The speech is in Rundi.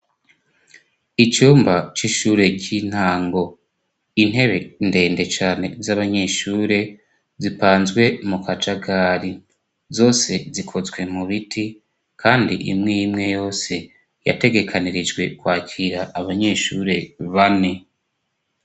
Icumba c'ishure ry'intango intebe ndende cane z'abanyeshure zipanzwe mu kacagari zose zikozwe mu biti, kandi imwe imwe yose yategekanirijwe kwakira abanyeshure bane.